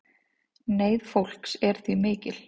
Neyð fólks er því mikil